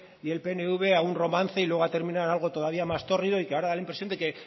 y el pnv a un romance y luego ha terminado en algo todavía más tórrido y que ahora da la impresión de que